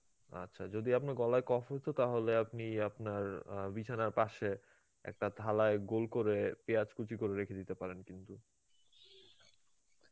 আচ্ছা, যদি আপনার গলায় কফ হইতো তাহলে আপনি আপনার আ বিছানার পাশে একটা থালায় গোল করে পিয়াজ কুচি করে রেখে দিতে পারেন কিন্তু,